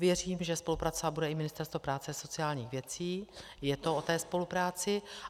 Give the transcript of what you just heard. Věřím, že spolupracovat bude i Ministerstvo práce a sociálních věcí, je to o té spolupráci.